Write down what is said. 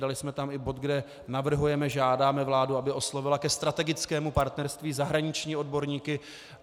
Dali jsme tam i bod, kde navrhujeme, žádáme vládu, aby oslovila ke strategickému partnerství zahraniční odborníky.